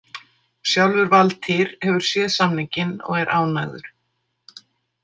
Sjálfur Valtýr hefur séð samninginn og er ánægður.